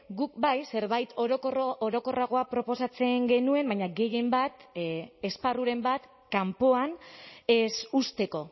guk bai zerbait orokorragoa proposatzen genuen baina gehienbat esparruren bat kanpoan ez uzteko